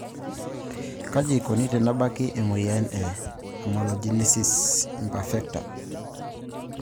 Kaji eikoni tenebaki emoyian e amelogenesis imperfecta?